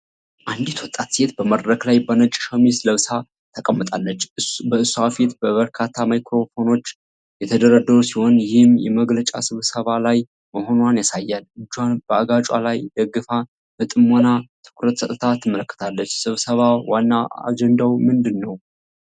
አንዲት ወጣት ሴት በመድረክ ላይ በነጭ ሸሚዝ ለብሳ ተቀምጣለች። በእሷ ፊት በርካታ ማይክሮፎኖች የተደረደሩ ሲሆን ይህም የመግለጫ ስብሰባ ላይ መሆኗን ያሳያል። እጇን በአገጯ ላይ ደግፋ በጥሞና ትኩረት ሰጥታ ትመለከታለች። ስብሰባ ዋና አጀንዳ ምንድን ነበር?